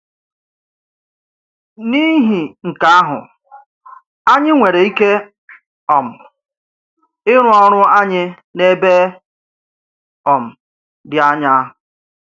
N’ìhì̀ nke ahụ, anyị nwere íkè um ị̀rụ̀ òrụ̀ anyị n’ebe um dị ányá